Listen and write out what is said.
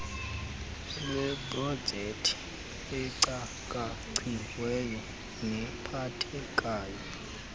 lweeprojekthi ecakaciweyo nephathekayo